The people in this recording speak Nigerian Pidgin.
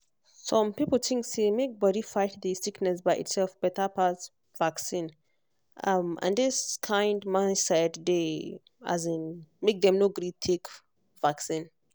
some people think say make body fight the sickness by itself better pass vaccine um and this kind mindset dey um make dem no gree take vaccine